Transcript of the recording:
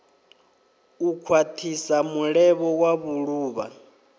u khwathisa mulevho wa vhuluvha